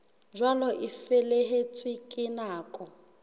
jwalo a feletswe ke nako